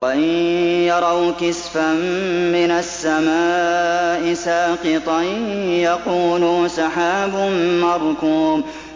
وَإِن يَرَوْا كِسْفًا مِّنَ السَّمَاءِ سَاقِطًا يَقُولُوا سَحَابٌ مَّرْكُومٌ